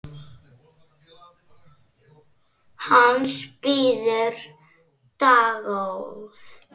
Hans bíður dágóð sekt.